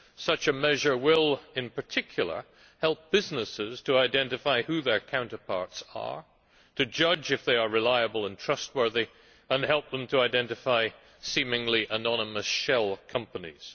Such a measure will, in particular, help businesses to help identify who their counterparts are, judge if they are reliable and trustworthy and help them identify seemingly anonymous shell companies.